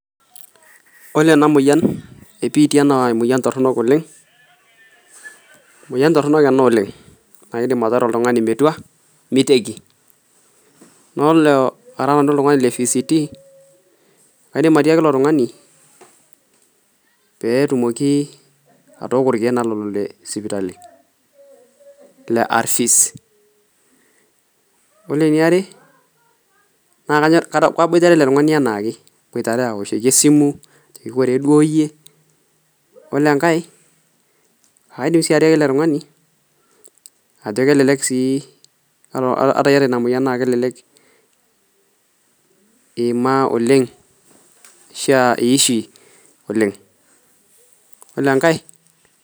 Ore ena moyian ebiitia naa emoyian toronok oleng ,emoyian toronok ena oleng naidim ataara oltungani metua miteiki ,na yiolo ara nanu oltungani leCVT kaidim atiaki ilo tungani pee etumoki naa atooko irkeek lelo lesipitali ,ore eniare naa kaboitare ele tungani anaake aoshoki esimu ajoki koree duo yie yiolo enkae ,ore enkae kajoki ele tungani ata iyata ina moyian kelelek iima oleng ashu aashua iishi oleng.